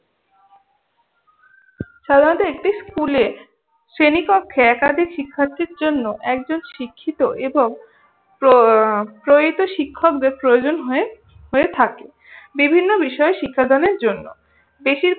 সাধারনত একটি স্কুলে শ্রেণীকক্ষে একাধিক শিক্ষার্থীর জন্য একজন শিক্ষিত এবং প্র প্রয়িত শিক্ষকদের প্রয়োজন হয়ে হয়ে থাকে। বিভিন্ন বিষয়ে শিক্ষাদানের জন্য। বেশির